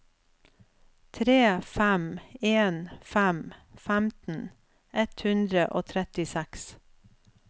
tre fem en fem femten ett hundre og trettiseks